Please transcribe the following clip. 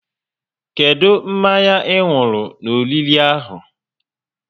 Kedụ mmanya ị nwụrụ n'oriri ahụ?